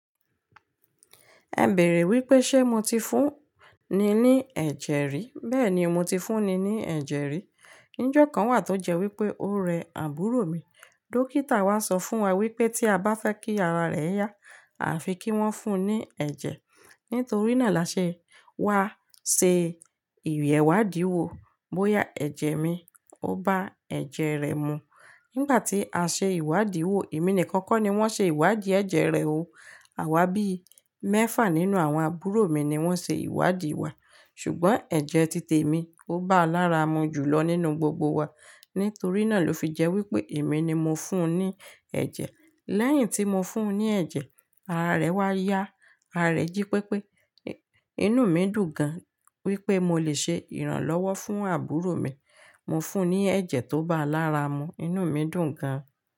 Ẹ bèèrè wípé ṣé mo ti fún ni ní ẹ̀jẹ̀ rí? Bẹ́ẹ̀ni mo ti fún ni ní ẹ̀jẹ̀ rí. Ní ìjọ̀kan wà tó jẹ́ wípé ó rẹ àbúrò mi. Dókítà wá sọ fún wa wípé tí a bá fẹ́ kí ara rẹ̀ yá, a fi kí wọ́n fún ní ẹ̀jẹ̀. Nítorí náà là ṣe wá ṣe ìyé ìwádìí wo bóyá ẹ̀jẹ̀ mi ó bá ẹ̀jẹ̀ rẹ̀ mu. Nígbà tí a ṣe ìwádìí wo, èmi nìkan kọ́ ni wọ́n ṣe ìwádìí ẹ̀jẹ̀ rẹ̀ o. Àwa bí i mẹ́fà nínú àwọn àbúrò mi ni wọ́n ṣe ìwádìí wa, ṣùgbọ́n ẹ̀jẹ̀ títè mi ó bá a lára mu jù lọ nínú gbogbo wa. Nítorí náà ló fi jẹ́ wípé èmi ni mo fún ní ẹ̀jẹ̀. Lẹ́yìn tí mo fún un ní ẹ̀jẹ̀, ara rẹ̀ wá yá. Ara rẹ̀ jí pépé. Inú mi dùn gan wípé mo lè ṣe ìrànlọ́wọ́ fún àbúrò mi. Mo fún un ní ẹ̀jẹ̀ tó bá a lára mu, inú mi dùn gan.